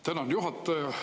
Tänan, juhataja!